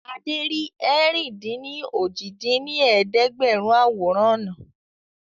Adé rí ẹ̀rin-dín-ní-ojì dín ní ẹ̀ẹ́dẹ́gbẹ́rún àwòrán ọ̀nà